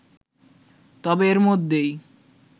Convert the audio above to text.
তবে এর মধ্যেই